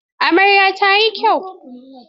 Amaryar ta yi kyau.